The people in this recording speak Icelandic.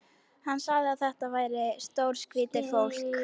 Hann sagði að þetta væri stórskrýtið fólk.